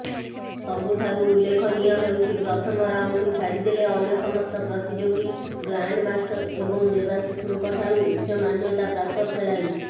ସବୁଠାରୁ ଉଲ୍ଲେଖନୀୟ ହେଉଛି ପ୍ରଥମ ରାଉଣ୍ଡକୁ ଛାଡ଼ିଦେଲେ ଅନ୍ୟ ସମସ୍ତ ପ୍ରତିଯୋଗୀ ଗ୍ରାଣ୍ଡମାଷ୍ଟର୍ ଏବଂ ଦେବାଶିଷଙ୍କଠାରୁ ଉଚ୍ଚମାନ୍ୟତାପ୍ରାପ୍ତ ଖେଳାଳି